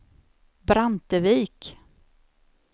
Brantevik